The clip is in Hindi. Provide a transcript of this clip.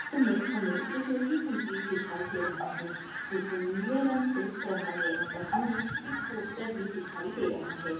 हमें हमे एक लोहेका गेट दिखाई दे रहा है इसे नीले रंग से रंगा गया है यहाँ पर हमे एक पोस्टर भी दिखाई दे रहा है।